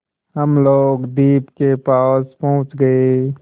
हम लोग द्वीप के पास पहुँच गए